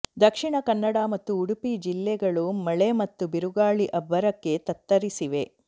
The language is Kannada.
ದಕ್ಷಿಣ ಕನ್ನಡ ಮತ್ತು ಉಡುಪಿ ಜಿಲ್ಲೆಗಳು ಮಳೆ ಮತ್ತು ಬಿರುಗಾಳಿ ಅಬ್ಬರಕ್ಕೆ ತತ್ತರಿಸಿವೆ